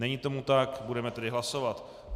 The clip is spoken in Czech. Není tomu tak, budeme tedy hlasovat.